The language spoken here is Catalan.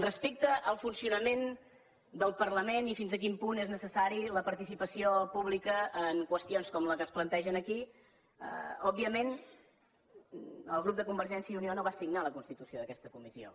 respecte al funcionament del parlament i fins a quin punt és necessària la participació pública en qüestions com la que es planteja aquí òbviament el grup de convergència i unió no va signar la constitució d’aquesta comissió